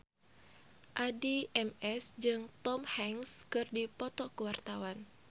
Addie MS jeung Tom Hanks keur dipoto ku wartawan